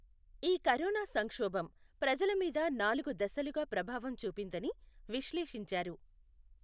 ఈ కరోనా సంక్షోభం ప్రజల మీద నాలుగు దశలుగా ప్రభావం చూపిందని విశ్లేషించారు.